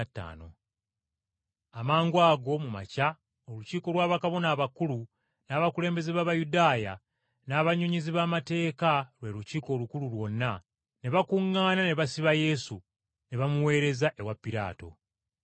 Amangwago mu makya olukiiko lwa bakabona abakulu, n’abakulembeze b’Abayudaaya, n’abannyonnyozi b’amateeka lwe Lukiiko Olukulu lwonna, ne bakuŋŋaana ne basiba Yesu, ne bamuweereza ewa Piraato.